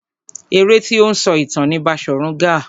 Eré tí ó ń sọ ìtàn ni Baṣòrun Gaa.